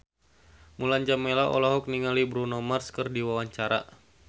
Mulan Jameela olohok ningali Bruno Mars keur diwawancara